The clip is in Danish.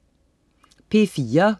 P4: